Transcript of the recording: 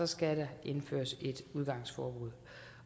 skal der indføres et udgangsforbud